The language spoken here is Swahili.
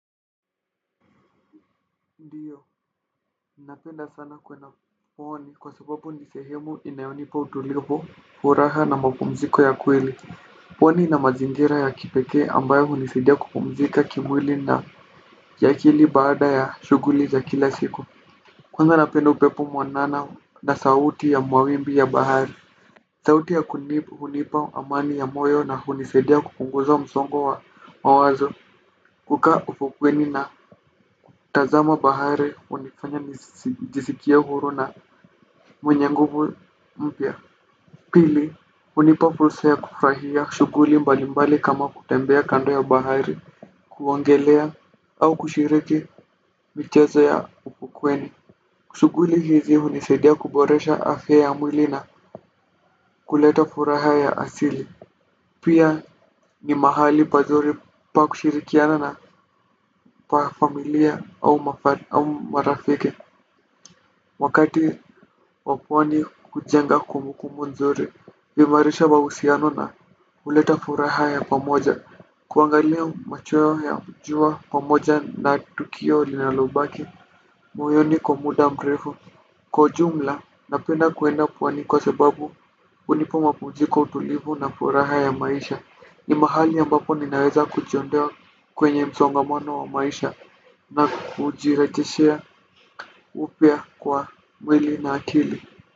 Ndiyo, napenda sana kwenda pwani kwa sababu ni sehemu inayonipa utulivu furaha na mapumziko ya kweli. Pwani na mazingira ya kipekee ambayo hunisaidia kupumzika kimwili na kiakili baada ya shuguli za kila siku. Kwenza napenda upepo mwanana na sauti ya mawimbi ya bahari. Sauti ya kunibu hunipa amani ya moyo na hunisaidia kupunguza msongo wa mawazo kukaa ufukweni na tazama bahari hunifanya nijisikie huru na mwenye nguvu mpya. Pili hunipa fursa ya kufurahia shuguli mbali mbali kama kutembea kando ya bahari kuongelea au kushiriki mchezo ya ufukweni. Shuguli hizi hunisaidia kuboresha afya ya mwili na kuleta furaha ya asili. Pia ni mahali pazuri pa kushirikiana na pa familia au marafiki. Wakati wa pwani kujenga kumbukumbu nzuri kuimarisha mahusiano na huleta furaha ya pamoja. Kuangalia machweo ya jua pamoja na tukio linalobaki moyoni kwa muda mrefu. Kwa jumla napenda kuenda pwani kwa sebabu unipa mapumziko utulivu na furaha ya maisha. Ni mahali ambapo ninaweza kujiondoa kwenye msongamono wa maisha na kujiretishia upya kwa mwili na akili.